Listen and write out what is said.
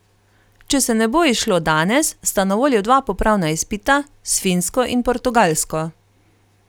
Če se ne bo izšlo danes, sta na voljo dva popravna izpita, s Finsko in Portugalsko.